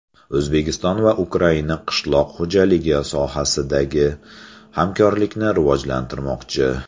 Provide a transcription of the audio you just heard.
O‘zbekiston va Ukraina qishloq xo‘jaligi sohasidagi hamkorlikni rivojlantirmoqchi.